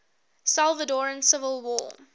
salvadoran civil war